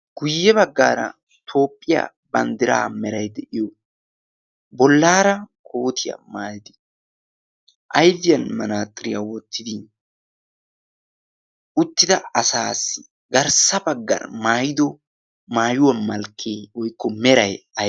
guyye baggaara toopphiyaa banddiraa merai de'iyo bollaara kootiyaa maayadi aifiyan manaaxiriyaa wottidi uttida asaassi garssa baggan maayido maayuwaa malkkee oykko meray?